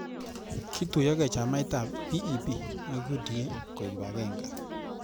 Kituyokei chamait ap PEP ak UDA koek kipagenge.